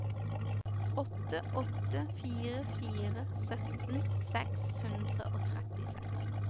åtte åtte fire fire sytten seks hundre og trettiseks